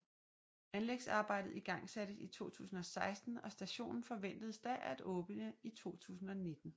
Anlægsarbejdet igangsattes i 2016 og stationen forventedes da at åbne i 2019